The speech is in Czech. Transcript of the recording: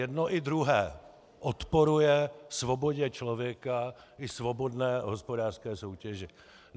Jedno i druhé odporuje svobodě člověka i svobodné hospodářské soutěži.